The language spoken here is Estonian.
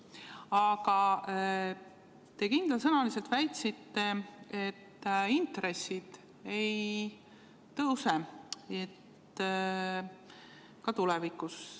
Aga te kindlasõnaliselt väitsite, et intressid ei tõuse ka tulevikus.